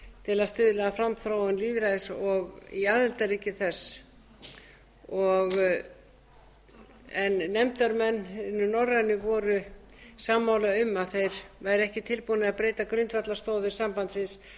til að stuðla að framþróun lýðræðis í aðildarríkjum þess en nefndarmennirnir norrænu voru sammála um að þeir væru ekki tilbúnir til að breyta grundvallarstoðum sambandsins